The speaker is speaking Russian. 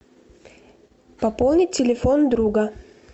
пополнить телефон друга